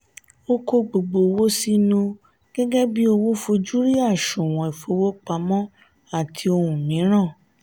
o ko gbogbo owo sinu gẹgẹbi owo fojú rí àsùnwòn ifowopamọ àti ohun miran.